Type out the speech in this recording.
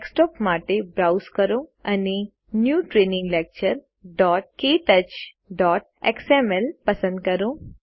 desktop માટે browse કરો અને ન્યૂ ટ્રેનિંગ lecturektouchએક્સએમએલ પસંદ કરો